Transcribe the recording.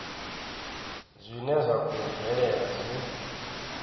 zwine zwa khou bvelela zwi